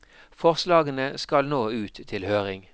Forslagene skal nå ut til høring.